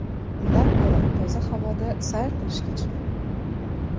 Undan ko‘ra toza havoda sayr qilishga chiqing.